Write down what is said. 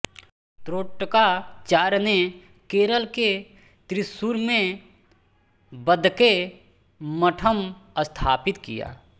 त्रोटकाचार्य ने केरल के त्रिशूर में वदक्के मठम् स्थापित किया